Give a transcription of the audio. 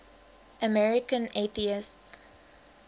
american atheists